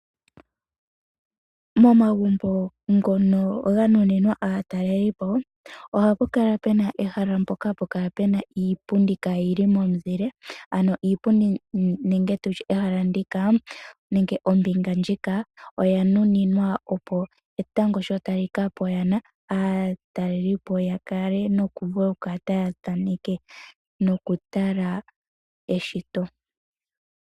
Momagumbo ngono ga nuninwa aatalelipo, ohapu kala pena ehala mpoka apukala pena iipundi kayili momizile, ano iipundi nenge tutye ehala ndika, nenge ombinga ndjika oya nuninwa opo etango shitali kapo yana, aatalelipo yakele nokuvulo kukala tayathaneke nokutala eshito.